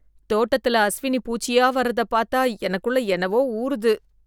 தோட்டத்துல அஸ்வினி பூச்சியா வர்றதை பார்த்தா எனக்குள்ள என்னவோ ஊறுது